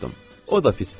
O da pis deyil.